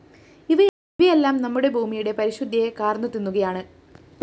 ഇവയെല്ലാം നമ്മുടെ ഭൂമിയുടെ പരിശുദ്ധിയെ കാർന്നു തിന്നുകയാണ്